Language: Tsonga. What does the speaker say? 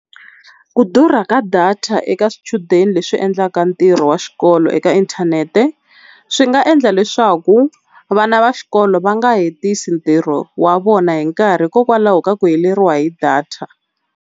Ku durha ka data eka swichudeni leswi endlaka ntirho wa xikolo eka inthanete swi nga endla leswaku vana va xikolo va nga hetisi ntirho wa vona hi nkarhi hikokwalaho ka ku heleriwa hi data.